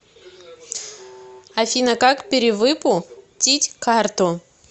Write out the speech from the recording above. афина как перевыпу тить карту